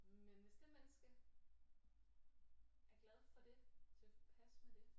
Men hvis det menneske er glad for det tilpas med det